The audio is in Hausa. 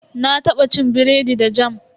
Na taba cin biredi da jam.